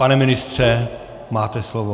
Pane ministře, máte slovo.